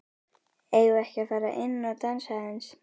Eigum við ekki að fara inn og dansa aðeins?